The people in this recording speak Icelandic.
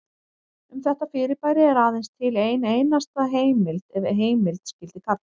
Um þetta fyrirbæri er aðeins til ein einasta heimild ef heimild skyldi kalla.